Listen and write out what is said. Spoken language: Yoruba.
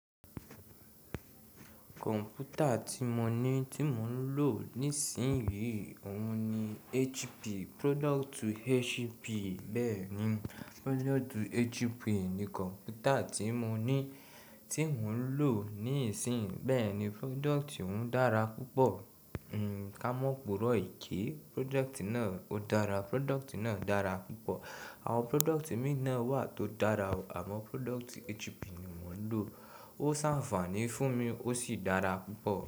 Kọ̀m̀pútà tí mo ní tí mò ń lò nísìnyí, òun ni HP. Product HP. Bẹ́ẹ̀ni, product HP ni kọ̀m̀pútà tí mo ní tí mò ń lò nísìnyí. Bẹ́ẹ̀ni product òun dára púpọ̀. Ka mọ́ pòrọ̀ ìké product náà, ó dára. Product náà dára púpọ̀. Àwọn product mìí náà wà tó dára o, àmó product HP ni mò ń lò. Ó ṣàfàní fún mi, ó sì dára púpọ̀.